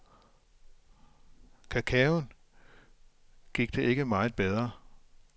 Cacaoen gik det ikke meget bedre.